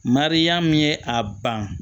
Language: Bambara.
Mariyamu ye a ban